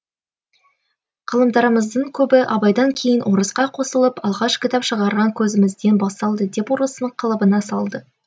ғылымдарымыздың көбі абайдан кейін орысқа қосылып алғаш кітап шығарған көзімізден басталды деп орыстың қалыбына салды